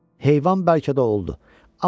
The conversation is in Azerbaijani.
Heyvan bəlkə də oldu.